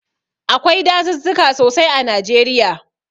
Akwai dazuzzuka sosai a Najeriya.